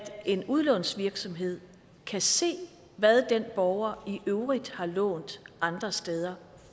en udlånsvirksomhed kan se hvad den borger i øvrigt har lånt andre steder